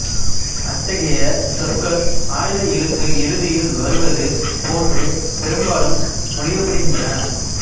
அத்தகைய சொற்கள் ஆய்த எழுத்து இறுதியில் வருவது போன்றே பெரும்பாலும் மொழியப்படுகின்றன